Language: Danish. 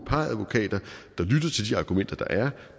par advokater der lyttede til de argumenter der er